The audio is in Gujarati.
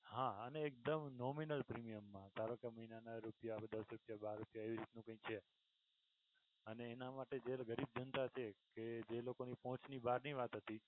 હા અને એકદમ nominal premium મા ધારોકે મહિના ના રૂપિયા દસ રૂપિયા બાર રૂપિયા એવું કઈ છે અને એના માટે જ્યારે વ્યક્તિ ધધાં છે જે લોકોની પહોંચ ની બહારની વાત હતી,